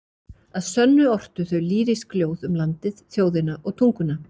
Að sönnu ortu þau lýrísk ljóð um landið, þjóðina og tunguna.